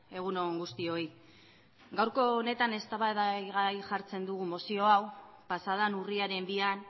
egun on guztioi gaurko honetan eztabaidagai jartzen dugu mozio hau pasa den urriaren bian